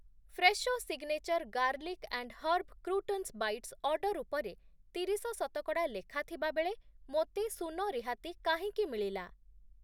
Fresho signature garlic and herb croutons bites order ଉପରେ ତିରିଶ ଶତକଡ଼ା ଲେଖା ଥିବାବେଳେ ମୋତେ ଶୂନ ରିହାତି କାହିଁକି ମିଳିଲା?